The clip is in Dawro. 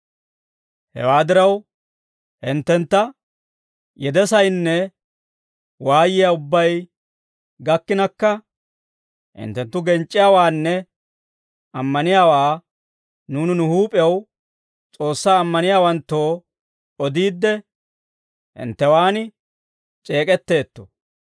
Hewaa diraw, hinttentta yedesaynne waayiyaa ubbay gakkinakka hinttenttu genc'c'iyaawaanne ammaniyaawaa nuuni nu huup'ew S'oossaa ammaniyaawanttoo odiidde, hinttewaan c'eek'etteetto.